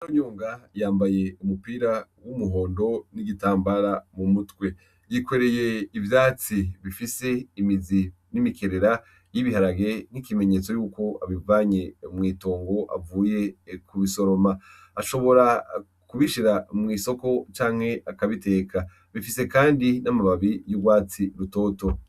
Oyonga yambaye umupira w'umuhondo n'igitambara mu mutwe yikwereye ivyatsi bifise imizi n'imikerera y'ibiharage n'ikimenyetso yuko abivanye mwitongo avuye ku bisoroma ashobora kubishira mw'isoko canke akabiteka bifise, kandi n'amababi y'urwatsi rutoto.